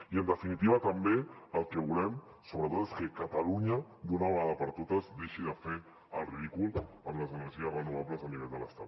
i en definitiva també el que volem sobretot és que catalunya d’una vegada per totes deixi de fer el ridícul en energies renovables a nivell de l’estat